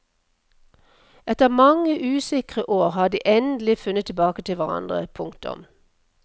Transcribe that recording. Etter mange usikre år har de endelig funnet tilbake til hverandre. punktum